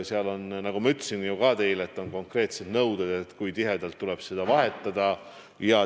Seal on, nagu ma teilegi ütlesin, konkreetsed nõuded, kui tihedalt tuleb seda vahetada.